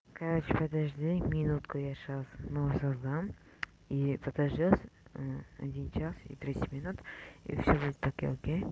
короче подожди минутку я сейчас вновь создам и подождёт один час и тридцать минут и всё будет окей окей